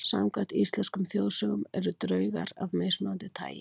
Samkvæmt íslenskum þjóðsögum eru draugar af mismunandi tagi.